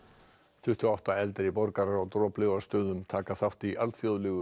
tuttugu og átta eldri borgarar á Droplaugarstöðum taka þátt í alþjóðlegu